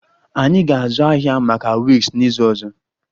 Anyị ga-azụ ahịa maka wigs n'izu ọzọ